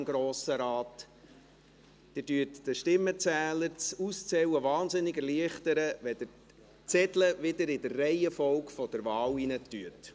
Sie erleichtern den Stimmenzählern das Auszählen sehr, wenn Sie die Zettel in der Reihenfolge der Wahl zurück ins Kuvert stecken.